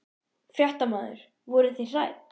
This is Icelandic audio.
Fréttamaður: Voruð þið hrædd?